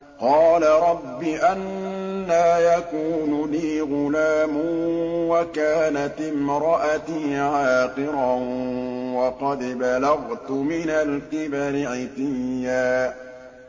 قَالَ رَبِّ أَنَّىٰ يَكُونُ لِي غُلَامٌ وَكَانَتِ امْرَأَتِي عَاقِرًا وَقَدْ بَلَغْتُ مِنَ الْكِبَرِ عِتِيًّا